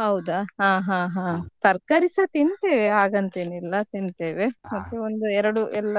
ಹೌದಾ, ಹಾ ಹಾ ಹಾ ತರಕಾರಿಸಾ ತಿಂತೇವೆ ಹಾಗಂತೇನಿಲ್ಲ ತಿಂತೇವೆ ಮತ್ತೆ ಒಂದ್ ಎರಡು ಎಲ್ಲ